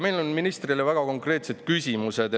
Meil on ministrile väga konkreetsed küsimused.